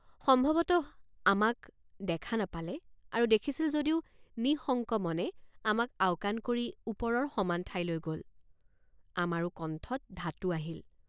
সম্ভৱতঃ আমাক দেখা নাপালে আৰু দেখিছিল যদিও নিঃশঙ্কমনে আমাক আওকাণ কৰি ওপৰৰ সমান ঠাইলৈ গল আমাৰো কণ্ঠত ধাতু আহিল।